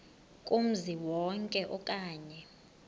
kumzi wonke okanye